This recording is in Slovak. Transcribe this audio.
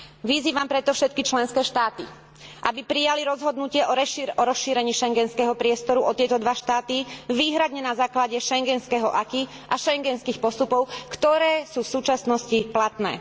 Vyzývam preto všetky členské štáty, aby prijali rozhodnutie o rozšírení schengenského priestoru o tieto dva štáty výhradne na základe schengenského acquis a schengenských postupov, ktoré sú v súčasnosti platné.